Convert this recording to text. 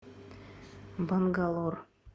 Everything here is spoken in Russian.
бангалор